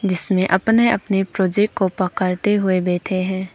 जिसमें अपने अपने प्रोजेक्ट को पकड़ते हुए बैठे हैं।